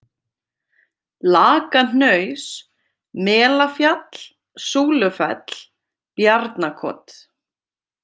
Lakahnaus, Melafjall, Súlufell, Bjarnakot